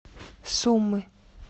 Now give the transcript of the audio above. сумы